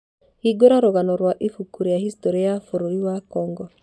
hingũra rũgano rwa ibuku rĩa historĩ ya bũrũri wa congo